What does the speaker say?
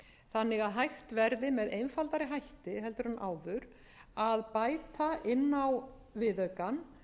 þannig að hægt verði með einfaldari hætti heldur en áður að bæta inn á viðaukann